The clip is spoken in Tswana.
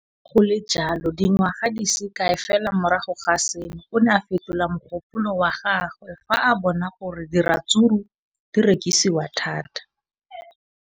Le fa go le jalo, dingwaga di se kae fela morago ga seno, o ne a fetola mogopolo wa gagwe fa a bona gore diratsuru di rekisiwa thata.